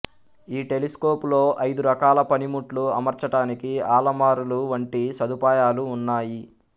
ఈ టెలిస్కోపులో ఐదు రకాల పనిముట్లు అమర్చటానికి అలమారుల వంటి సదుపాయాలు ఉన్నాయి